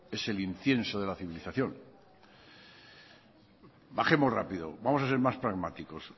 es el incienso de la civilización bajemos rápido vamos a ser más pragmáticos